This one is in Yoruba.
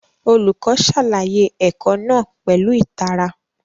Olùkọ́ ṣàlàyé ẹ̀kọ́ náà pẹ̀lú ìtara